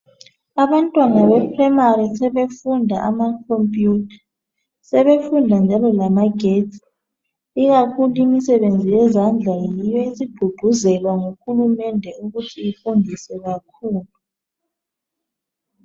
abantwana be primary sebefunda ama computer sebefunda njalo lamagetsi ikakhulu imisebenzi yezandla yiyo esigqugquzelwa ngu hulumende ukuthi ifundiswe kakhulu